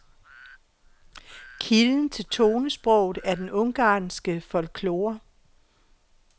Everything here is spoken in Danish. Kilden til tonesproget er den ungarske folklore.